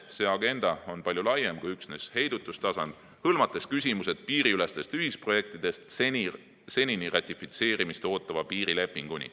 See agenda on palju laiem kui üksnes heidutustasand, hõlmates küsimusi piiriülestest ühisprojektidest senini ratifitseerimist ootava piirilepinguni.